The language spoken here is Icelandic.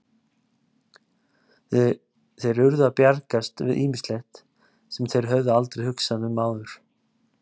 Þeir urðu að bjargast við ýmislegt, sem þeir höfðu aldrei hugsað um áður.